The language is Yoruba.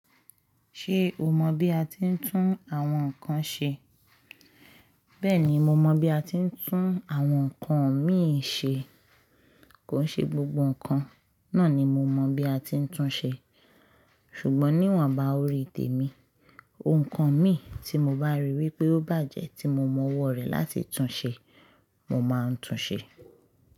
Ṣé o mọ bí a ti ń tún àwọn nǹkan ṣe? Bẹ́ẹ̀ni mo mọ bí a ti ń tún àwọn nǹkan mìí ṣe, kò ṣe gbogbo nǹkan náà ni mo mọ bí a ti ń tún ṣe, ṣùgbọ́n níwọ̀nba orí ìtè mi, ohun kan mi tí mo bá ríi wí pé ó bàjẹ́ tí mo mọ ọwọ́ rẹ̀ láti tún ṣe, mo máa ń tún ṣe.